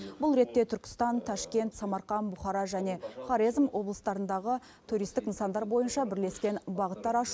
бұл ретте түркістан ташкент самарқан бұхара және хорезм облыстарындағы туристік нысандар бойынша бірлескен бағыттар ашу